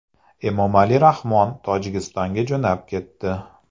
Emomali Rahmon Tojikistonga jo‘nab ketdi.